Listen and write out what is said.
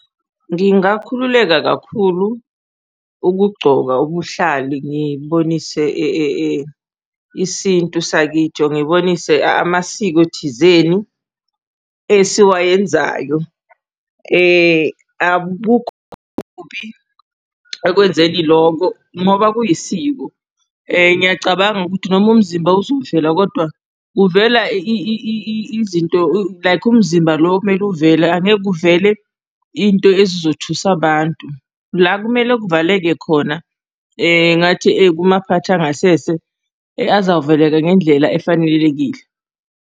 Ngingakhululeka kakhulu ukugcoka ubuhlali ngibonise isintu sakithi or ngibonise amasiko thizeni esiwayenzayo. Akukho okubi ekwenzeni lokho ngoba kuyisiko. Ngiyacabanga ukuthi noma umzimba uzovela kodwa uvela izinto like umzimba lo okumele uvele angeke kuvele into ezizothusa abantu. La ekumele kuvaleke khona ngathi kumaphakathi angasese azavaleka ngendlela efanelekile.